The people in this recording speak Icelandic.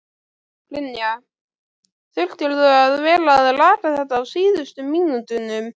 Brynja: Þurftirðu að vera að laga þetta á síðustu mínútunum?